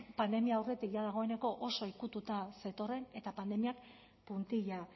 pandemia aurretik jada dagoeneko oso ukituta zetorren eta pandemiak puntilla